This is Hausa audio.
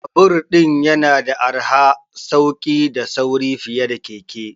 Babur yana da arha, sauki da sauri fiye da keke.